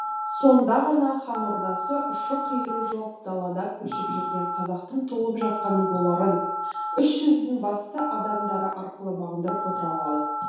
сонда ғана хан ордасы ұшы қиыры жоқ далада көшіп жүрген қазақтың толып жатқан руларын үш жүздің басты адамдары арқылы бағындырып отыра алады